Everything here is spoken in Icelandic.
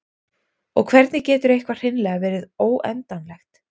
og hvernig getur eitthvað hreinlega verið óendanlegt